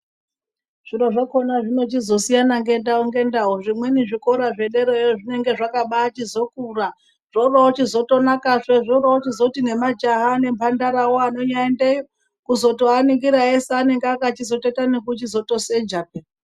Zviro zvakhona zvinochizosiyana ngendau ngendau, zvimweni zvikora zvederayo zvinenge zvakabachizokura zvoro chizotonakazve, zvorozoti nemajaha nemhandarawo anonyaendeyo kuzoaningira eshe anenge akachizotoita ekutoseja peya.